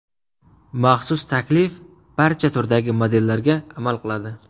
Maxsus taklif barcha turdagi modellarga amal qiladi!